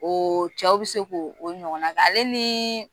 Ooo cɛw bɛ se ko o ɲɔgɔn na kɛ, ale niii